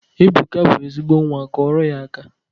Ebuka bụ ezigbo nnwa, kụọrọ ya aka!